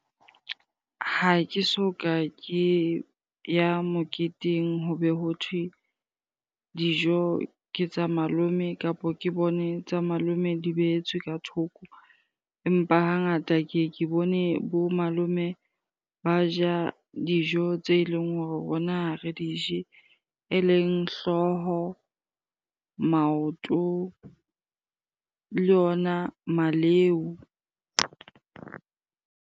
Ha ke so ka ke ya moketeng ho be ho thwe dijo ke tsa malome kapo ke bone tsa malome di behetswe ka thoko. Empa hangata ke ye ke bone bo malome ba ja dijo tse eleng hore rona ha re dije. Eleng hlooho, maoto le ona maleu.